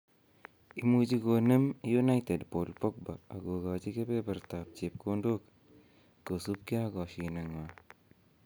Imuchi konem United Paul Pogba akogochi kebebertab chepkondok kosubkei ak koshinetng'wa